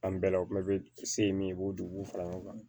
An bɛɛ la o bɛɛ bɛ se min ye i b'o duguw fara ɲɔgɔn kan